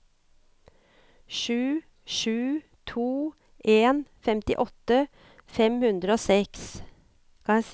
sju sju to en femtiåtte fem hundre og seks